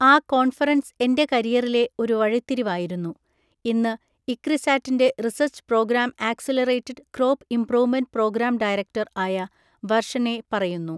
ആ കോൺഫറൻസ് എൻ്റെ കരിയറിലെ ഒരു വഴിത്തിരിവായിരുന്നു, ഇന്ന് ഇക്രിസാറ്റിൻ്റെ research programme accelerated crop improvement programme director ആയ വർഷനെ പറയുന്നു.